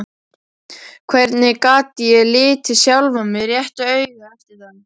Hvernig gat ég litið sjálfan mig réttu auga eftir það?